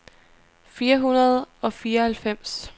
fire hundrede og fireoghalvfems